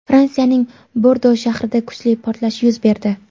Fransiyaning Bordo shahrida kuchli portlash yuz berdi.